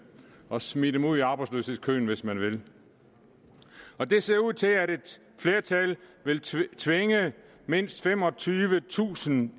og smide dem ud i arbejdsløshedskøen hvis man vil det ser ud til at et flertal vil tvinge mindst femogtyvetusind